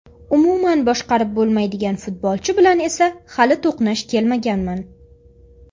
Umuman boshqarib bo‘lmaydigan futbolchi bilan esa hali to‘qnash kelmaganman.